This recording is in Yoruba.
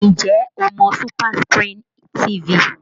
Ǹjẹ́ o mọ SuperScreen TV?